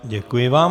Děkuji vám.